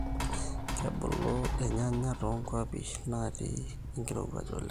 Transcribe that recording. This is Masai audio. Kebulu irnyanya too nkuapi naati enkiruaj oleng